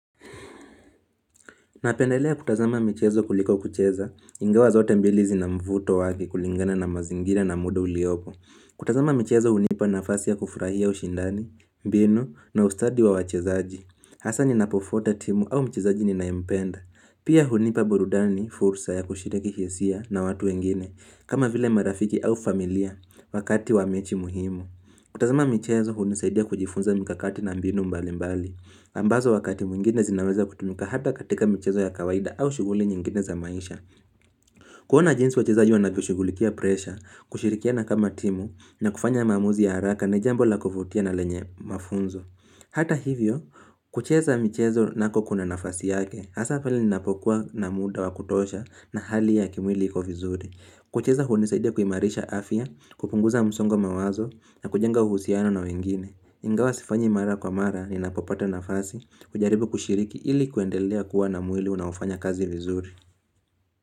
Napendelea kutazama michezo kuliko kucheza, ingawa zote mbilizi zina mvuto wake kulingana na mazingira na muda uliopo. Kutazama michezo hunipa nafasi ya kufurahia ushindani, mbinu, na ustadi wa wachezaji. Hasa ninapofuata timu au mchezaji ninaempenda. Pia hunipa burudani, fursa ya kushiriki hisia na watu wengine, kama vile marafiki au familia, wakati wa mechi muhimu. Kutazama michezo hunisaidia kujifunza mkakati na mbinu mbali mbali. Ambazo wakati mwingine zinaweza kutumika hata katika michezo ya kawaida au shuguli nyingine za maisha. Kuhona jinsi wachezaji wanavyoshugulikia presha, kushirikiana kama timu na kufanya mamuzi ya haraka ni jambo la kufutia na lenye mafunzo. Hata hivyo, kucheza michezo nako kuna nafasi yake, hasa pali ninapokuwa na muda wa kutosha na hali ya kimwili iko vizuri. Kucheza hunisaidia kuimarisha afia, kupunguza msongo wa mawazo na kujenga uhusiano na wengine. Ingawa sifanyi mara kwa mara ninapopata nafasi kujaribu kushiriki ili kuendelea kuwa na mwili unaofanya kazi vizuri.